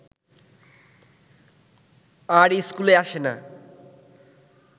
আর ইস্কুলে আসে না